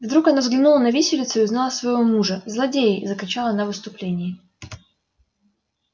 вдруг она взглянула на виселицу и узнала своего мужа злодеи закричала она в исступлении